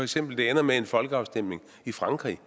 til at det ender med en folkeafstemning i frankrig